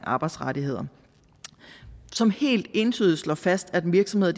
arbejdsrettigheder som helt entydigt slår fast at virksomheder